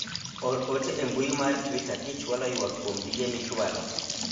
or ote e mbui mar twita kichwalo ywak kuom tije michwalo